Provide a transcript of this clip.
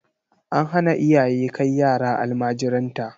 An hana iyaye kai yara almajiranta.